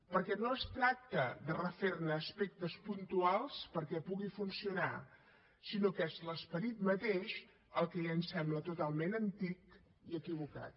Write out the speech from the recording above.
perquè no es tracta de refer ne aspectes puntuals perquè pugui funcionar sinó que és l’esperit mateix el que ja ens sembla totalment antic i equivocat